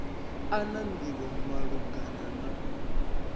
a na nḓivho malugana na